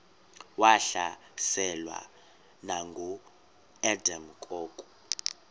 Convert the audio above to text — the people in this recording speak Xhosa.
wahlaselwa nanguadam kok